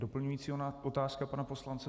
Doplňující otázka pana poslance.